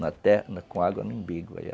na terra, com água no umbigo.